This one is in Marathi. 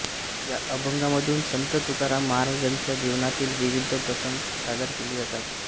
या अभंगांमधून संत तुकाराम महाराजांच्या जीवनातील विविध प्रसंग सादर केले जातात